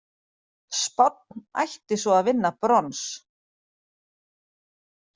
Spánn ætti svo að vinna brons